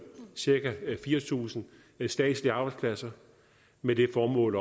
cirka fire tusind statslige arbejdspladser med det formål